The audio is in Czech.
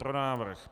Pro návrh.